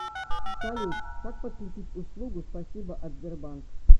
салют как подключить услугу спасибо от сбербанк